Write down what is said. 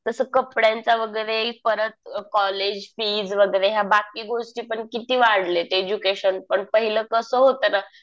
तस कपड्यांचं वगैरे परत कॉलेज फीज वगैरे या बाकी गोष्टी पण किती वाढल्यात. एज्युकेशन पण पाहिलं कसं होतं ना.